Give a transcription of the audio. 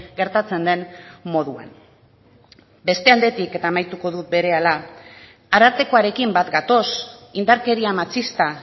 gertatzen den moduan beste aldetik eta amaituko dut berehala arartekoarekin bat gatoz indarkeria matxista